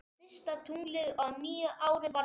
Og fyrsta tunglið á nýju ári var fullt.